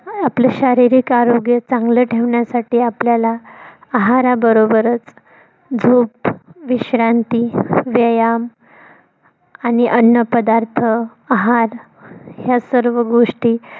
आपलं शारीरिक आरोग्य चांगलं ठेवण्यासाठी आपल्याला आहारा बरोबरच झोप, विश्रांती, व्यायाम आणि अन्न पदार्थ आहार या सर्व गोष्टी